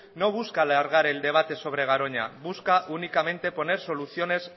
no busca alargar el debate sobre garoña busca únicamente poner soluciones